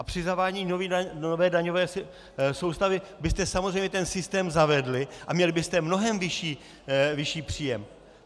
A při zavádění nové daňové soustavy byste samozřejmě ten systém zavedli a měli byste mnohem vyšší příjem.